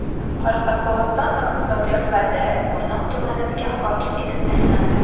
Qoraqalpog‘iston Iqtisodiyot vaziri Mo‘ynoq tumaniga hokim etib tayinlandi.